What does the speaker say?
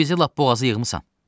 Bizi lap boğazı yığmısan.